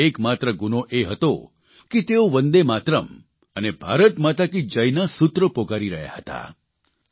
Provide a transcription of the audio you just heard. તેમનો એક માત્ર ગુનો એ હતો કે તેઓ વંદેમાતરમ અને ભારત માતા કી જયના સૂત્રો પોકારી રહ્યા હતા